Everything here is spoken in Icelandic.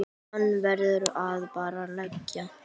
Hann verður bara að liggja.